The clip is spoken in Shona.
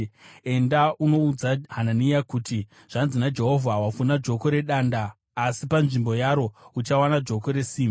“Enda unoudza Hanania kuti, ‘Zvanzi naJehovha: Wavhuna joko redanda, asi panzvimbo yaro uchawana joko resimbi.